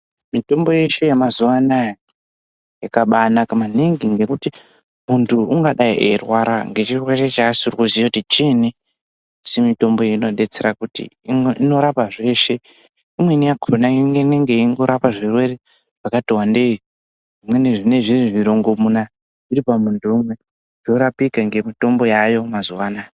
Mitombo yeshe yemazuwa anaya yakabaanaka maningi ngekuti muntu ungadai eirwara ngechirwre chaasiri kuziya kuti chiinyi asi mitomboyo inodetsera kuti inorapa zveshe imweni yakona imwe inonga yeirapa zvirwere zvakati wandei zvimweni zvinonga zviri zvirongomuna zviri pamunhu umwe zvinorapika nemitombo yaayo mazuwa anaya.